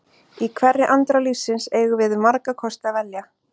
Í hverri andrá lífsins eigum við um marga kosti að velja.